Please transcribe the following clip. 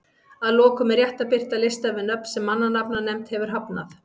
Að lokum er rétt að birta lista yfir nöfn sem mannanafnanefnd hefur hafnað.